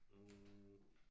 Hm